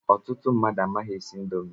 Ọtụtụ mmadụ amaghị esi indomi